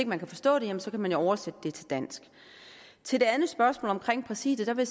man kan forstå dem så kan man jo oversætte dem til dansk til det andet spørgsmål om præsidiet vil